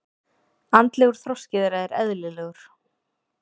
Andlegur þroski þeirra er eðlilegur.